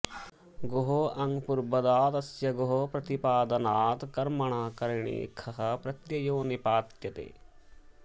गोः आङ्पूर्वादा तस्य गोः प्रतिपादनात् कर्मकारिणि खः प्रत्ययो निपात्यते